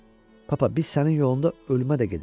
Papa, biz sənin yolunda ölümə də gedərik.